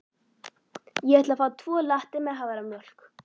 Ég ætla að fá tvo latte með haframjólk.